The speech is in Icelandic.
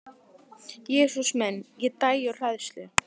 Jesús minn, ég dæi úr hræðslu